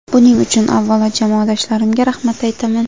Buning uchun, avvalo, jamoadoshlarimga rahmat aytaman.